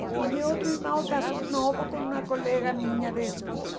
E e meu outro irmão casou novo com uma colega minha de escola.